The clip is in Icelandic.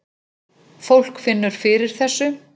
Fólk finnur fyrir þessu